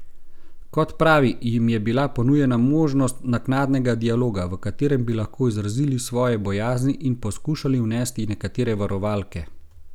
Kot pravi, jim je bila ponujena možnost naknadnega dialoga, v katerem bi lahko izrazili svoje bojazni in poskušali vnesti nekatere varovalke.